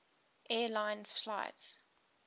air lines flight